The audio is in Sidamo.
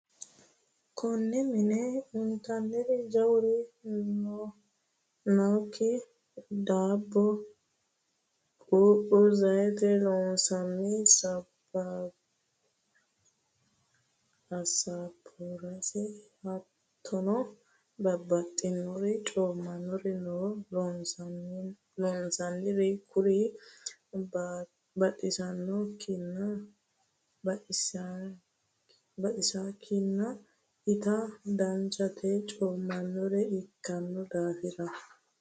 Kone mine intanniri jawuri nk daabbo, quuphu ,Zayitete loonsonni asabursi hattono babbaxxinori coomanori no loonsonnori kuri batisikkinni itta danchate coominore ikkino daafira.